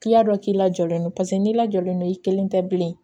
dɔ k'i lajɔlen don paseke n'i lajɔlen don i kelen tɛ bilen